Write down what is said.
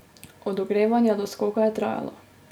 Od ogrevanja do skoka je trajalo.